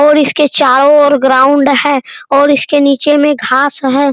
और इसके चारो और ग्राउंड है और इसके नीचे मे घास है ।